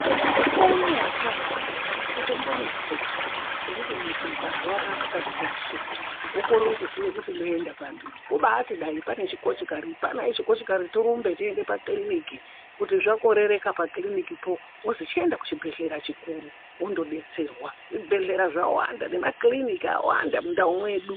Mukuwo unowu watava hatichatombonetseki zvekuti mundu ukarwara unyari pakati peusiku wokorere kuzive kuti ndoende pari kumbaiti bayiri apfana echikochikari torumbe teyiende pakiriniki kuti zvakorereka pakiriniki poo wozwi chitenda kuchibhedhlera chikuru wondobetserwa zvibhedhleya zvawanda nemakirinika awanda mundawu yedu.